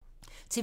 TV 2